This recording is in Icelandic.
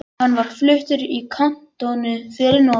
Hann var fluttur í kantónu fyrir norðan.